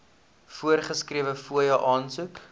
voorgeskrewe fooie aansoek